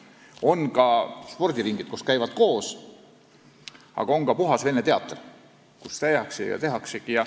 On ka spordiringid, kus käivad kõik lapsed koos, aga on ka puhas vene teatriring.